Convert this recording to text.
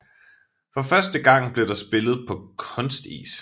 For første gang blev der spillet på kunstis